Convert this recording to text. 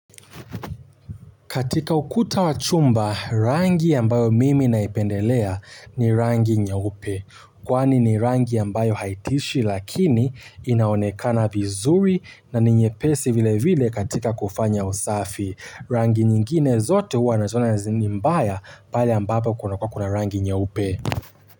Katika ukuta wa chumba rangi ambayo mimi naipendelea ni rangi nyeupe kwani ni rangi ambayo haitishi lakini inaonekana vizuri na ni nyepesi vile vile katika kufanya usafi. Rangi nyingine zote huwa naziona ni mbaya pale ambapo kunakuwa kuna rangi nyeupe.